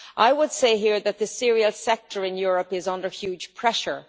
I would say here that the cereal sector in Europe is under huge pressure.